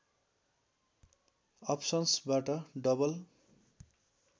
अप्सन्स्‌बाट double